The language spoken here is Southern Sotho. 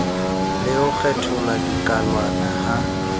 le ho kgethulwa dikalwana ha